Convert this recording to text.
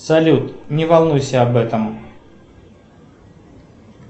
салют не волнуйся об этом